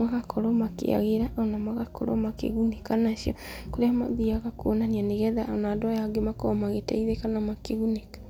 magakorwo makĩagĩra ona magakorwo makĩgunĩka nacio. Kũrĩa mathiaga kũonania, nĩgetha ona andũ aya angĩ makorwo magĩteithĩka na makĩgunĩka.